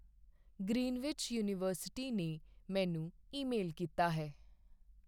Greenwich university ਨੇ ਮੈਨੂੰ email ਕੀਤਾ ਹੈ।